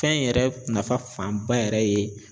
Fɛn in yɛrɛ nafa fanba yɛrɛ ye